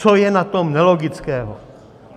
Co je na tom nelogického?